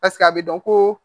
Paseke a bɛ dɔn ko